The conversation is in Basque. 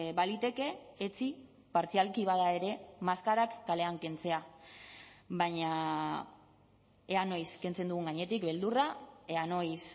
baliteke etzi partzialki bada ere maskarak kalean kentzea baina ea noiz kentzen dugun gainetik beldurra ea noiz